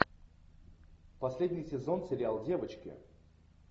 последний сезон сериал девочки